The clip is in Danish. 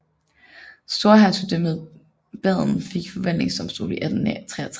Storhertugdømmet Baden fik en forvaltningsdomstol i 1863